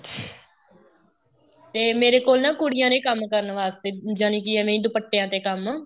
ਤੇ ਮੇਰੇ ਕੋਲ ਨਾ ਕੁੜੀਆਂ ਨੇ ਕੰਮ ਕਰਨ ਵਾਸਤੇ ਜਾ ਨੀ ਕੀ ਐਵੇਂ ਏ ਦੁਪੱਟਿਆ ਤੇ ਕੰਮ